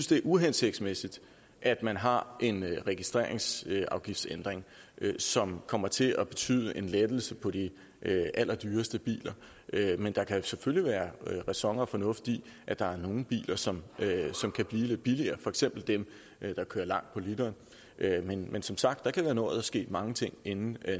det er uhensigtsmæssigt at man har en registreringsafgiftsændring som kommer til at betyde en lettelse på de allerdyreste biler men der kan selvfølgelig være ræson og fornuft i at der er nogle biler som kan blive lidt billigere for eksempel dem der kører langt på literen men men som sagt kan der nå at ske mange ting inden